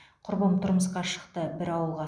құрбым тұрмысқа шықты бір ауылға